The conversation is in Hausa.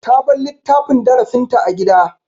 Ta bar littafin darasinta a gida.